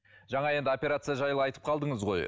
жаңа енді операция жайлы айтып қалдыңыз ғой